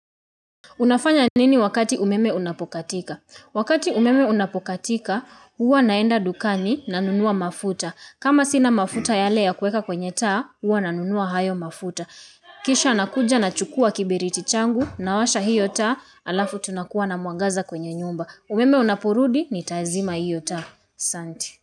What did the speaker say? Unafanya nini wakati umeme unapokatika? Wakati umeme unapokatika, huwa naenda dukani nanunua mafuta. Kama sina mafuta yale ya kueka kwenye taa, huwa nanunua hayo mafuta. Kisha nakuja nachukua kiberiti changu nawasha hiyo taa alafu tunakuwa na mwangaza kwenye nyumba. Umeme unaporudi nitazima hiyo taa. Santi.